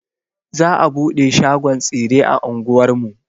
Za a buɗe shagon tsire a anguwar mu.